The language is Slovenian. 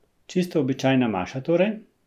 Čisto običajna maša torej?